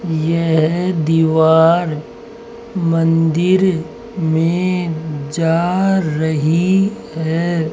यह दीवार मंदिर में जा रही है।